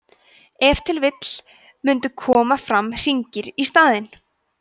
ef til vill mundu koma fram hringir í staðinn